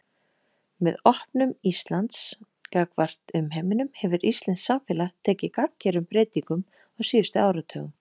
Með opnun Íslands gagnvart umheiminum hefur íslenskt samfélag tekið gagngerum breytingum á síðustu áratugum.